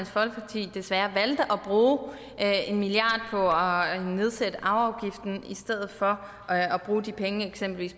folkeparti desværre valgte at bruge en milliard at nedsætte arveafgiften i stedet for at at bruge de penge